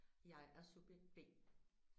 Jeg er subjekt B